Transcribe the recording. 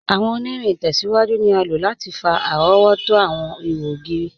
Awọn ọ̀nìrìn itẹ̀síwájú ni a ló láti fà arọ̀wọ̀tó awọn ìhò ogiri.